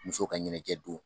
Musow ka ɲɛnajɛ don.